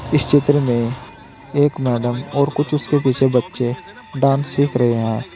इस चित्र में एक मैडम और कुछ उसके पीछे बच्चे डांस सीख रहे हैं।